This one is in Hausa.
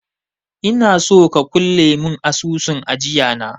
Inaso ka kulle mun asusun ajiya na